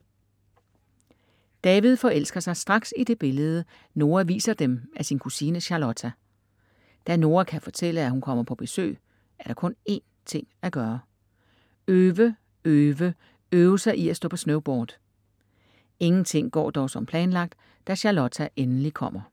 David forelsker sig straks i det billede, Noa viser dem af sin kusine Charlotta. Da Noa kan fortælle, at hun kommer på besøg, er der kun en ting at gøre: Øve, øve, øve sig i at stå på snowboard. Ingenting går dog som planlagt da Charlotta endelig kommer.